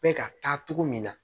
Bɛ ka taa cogo min na